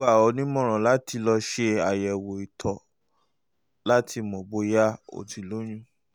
n ó gbà ọ́ nímọ̀ràn láti lọ ṣe àyẹ̀wò ìtọ̀ láti um mọ̀ bóyá um o ti lóyún um